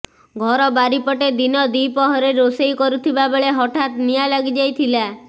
ଘର ବାରିପଟେ ଦିନ ଦ୍ବି ପ୍ରହରରେ ରୋଷେଇ କରୁଥିବା ବେଳେ ହଠାତ୍ ନିଆଁ ଲାଗି ଯାଇଥିଲା